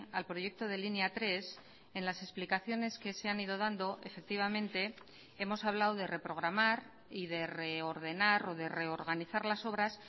al proyecto de línea tres en las explicaciones que se han ido dando efectivamente hemos hablado de reprogramar y de reordenar o de reorganizar las obras